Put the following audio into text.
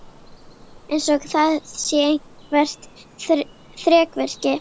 Eins og það sé eitthvert þrekvirki.